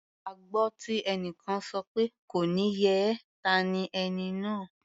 A gbọ́ tí ẹnìkan sọ pé "kò ní yẹ ẹ́" ta ni ẹni náà?